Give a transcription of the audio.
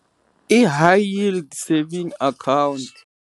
I high yield saving account.